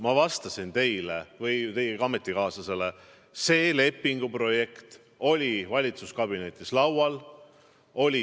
Ma vastasin teile või teie ametikaaslastele, et see lepinguprojekt oli valitsuskabinetis laual.